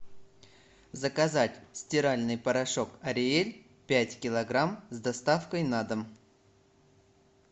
заказать стиральный порошок ариэль пять килограмм с доставкой на дом